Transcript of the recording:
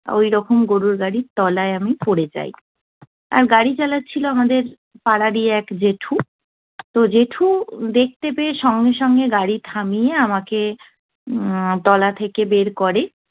ওইরকম গরুর গাড়ির তলায় আমি পড়ে যাই। আর গাড়ি চালাচ্ছিল আমাদের পাড়ারই এক জ্যেঠু। তো জ্যেঠু দেখতে পেয়ে সঙ্গে সঙ্গে গাড়ি থামিয়ে আমাকে উহ